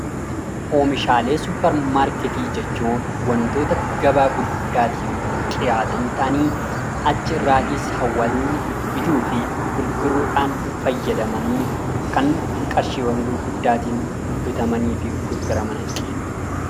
Oomishalee supper maarkettii jechuun wantoota gabaa gurguddaatiif dhiyaatan ta'anii achirraatiis hawaasni bituudhaaf gurguruudhaan fayyadaman kan qarshiiwwan gurguddaatiin bitamaniifi gurguramanidha.